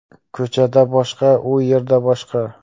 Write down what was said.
Ko‘chada boshqa, u yerda boshqa.